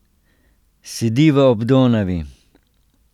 Sediva ob Donavi.